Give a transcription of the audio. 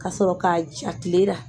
Ka sɔrɔ k'a ja kile ra.